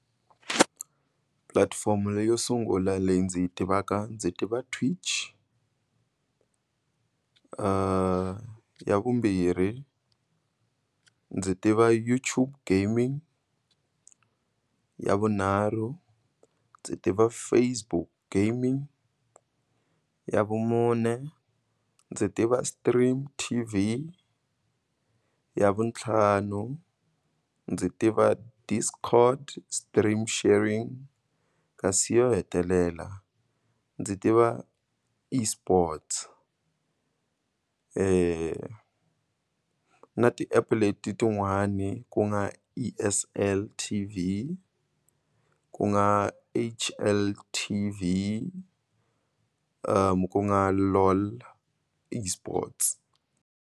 Pulatifomo leyo sungula leyi ndzi yi tivaka ndzi tiva Twitch, ya vumbirhi ndzi tiva YouTube Gaming, ya vunharhu ndzi tiva Facebook Gaming, ya vumune ndzi tiva STREAM.tv, ya vutlhanu ndzi tiva Discord Stream Sharing, kasi yo hetelela ndzi tiva eSports na ti-app letin'wani ku nga E_S_L T_V, ku nga H_L_T_V, ku nga LOL eSports.